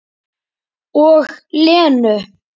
Og Lenu.